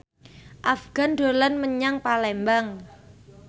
Afgan dolan menyang Palembang